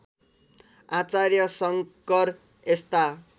आचार्य शङ्कर यस्ता